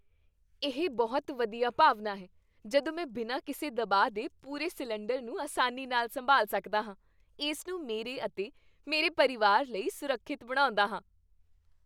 ਇਹ ਬਹੁਤ ਵਧੀਆ ਭਾਵਨਾ ਹੈ ਜਦੋਂ ਮੈਂ ਬਿਨਾਂ ਕਿਸੇ ਦਬਾਅ ਦੇ ਪੂਰੇ ਸਿਲੰਡਰ ਨੂੰ ਆਸਾਨੀ ਨਾਲ ਸੰਭਾਲ ਸਕਦਾ ਹਾਂ, ਇਸ ਨੂੰ ਮੇਰੇ ਅਤੇ ਮੇਰੇ ਪਰਿਵਾਰ ਲਈ ਸੁਰੱਖਿਅਤ ਬਣਾਉਂਦਾ ਹਾਂ।